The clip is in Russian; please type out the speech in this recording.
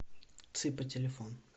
цыпа телефон